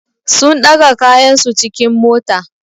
Sun ɗaga kayansu cikin mota.